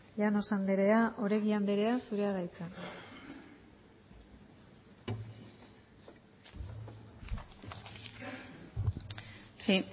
llanos andrea oregi andrea zura da hitza sí